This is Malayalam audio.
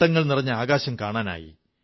പട്ടങ്ങൾ നിറഞ്ഞ ആകാശം കാണാനായി